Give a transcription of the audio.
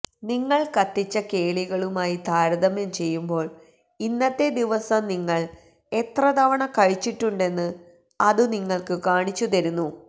നിങ്ങൾ കത്തിച്ച കേളികളുമായി താരതമ്യം ചെയ്യുമ്പോൾ ഇന്നത്തെ ദിവസം നിങ്ങൾ എത്ര തവണ കഴിച്ചിട്ടുണ്ടെന്ന് അതു നിങ്ങൾക്ക് കാണിച്ചുതരുന്നു